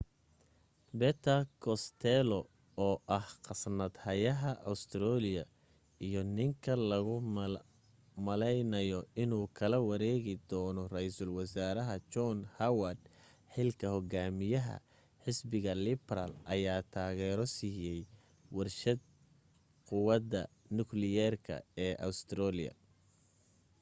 peter costello oo ah khasnad hayaha australia iyo ninka logu malaynaayo inuu kala wareegi doono raysal wasaaraha john howard xilka hogaamiyaha xisbiga liberal ayaa taageero siiyay warshad quwadda nukliyeerka ee australia